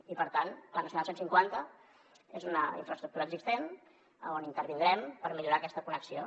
i per tant la nacional cent i cinquanta és una infraestructura existent on intervindrem per millorar aquesta connexió